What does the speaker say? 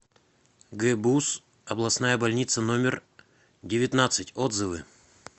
гбуз областная больница номер девятнадцать отзывы